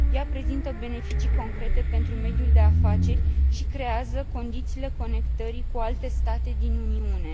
Ea prezintă beneficii concrete pentru mediul de afaceri și creează condițiile conectării cu alte state din Uniune.